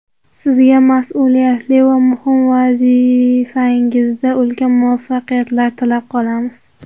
Sizga mas’uliyatli va muhim vazifangizda ulkan muvaffaqiyatlar tilab qolamiz.